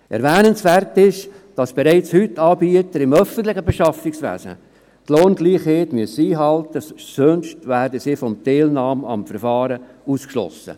Erwähnenswert ist, dass bereits heute Anbieter im öffentlichen Beschaffungswesen die Lohngleichheit einhalten müssen, sonst werden sie von der Teilnahme am Verfahren ausgeschlossen.